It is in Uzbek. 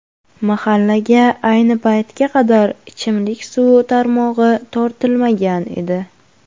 Mahallaga ayni paytga qadar ichimlik suvi tarmog‘i tortilmagan edi.